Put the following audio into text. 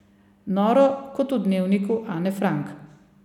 Noro kot v Dnevniku Ane Frank.